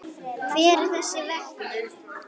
Hver er þessi vegur?